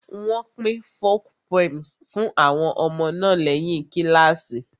Wọ́n pín folk poems fún àwọn ọmọ náà lẹ́yìn kíláàsì